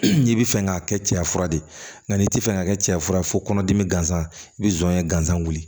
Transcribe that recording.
N'i bɛ fɛ k'a kɛ cɛya fura de ye nka n'i ti fɛ ka kɛ cɛya fura ye fo kɔnɔdimi gansan i bɛ zonye gansan wuli